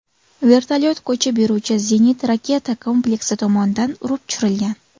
Vertolyot ko‘chib yuruvchi zenit-raketa kompleksi tomonidan urib tushirilgan.